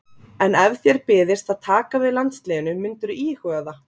En ef þér byðist að taka við landsliðinu myndirðu íhuga það?